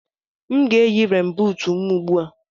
M ga-eyi renbuut m ugbu a.